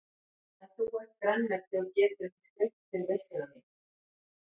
En þú ert grænmeti og getur ekki skreytt fyrir veisluna MÍNA.